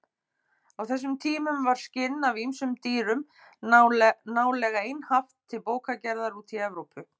Á þessum tímum var skinn af ýmsum dýrum nálega einhaft til bókagerðar úti í Evrópu.